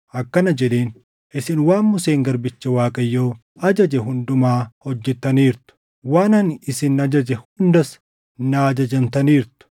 akkana jedheen; “Isin waan Museen garbichi Waaqayyoo ajaje hundumaa hojjettaniirtu; waan ani isin ajaje hundas naa ajajamtaniirtu.